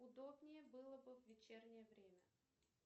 удобнее было бы в вечернее время